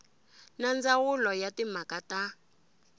na ndzawulo ya timhaka ta